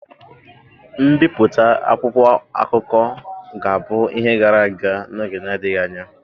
Mbipụta akwụkwọ akụkọ ga-abụ ihe gara aga n'oge na-adịghị anya.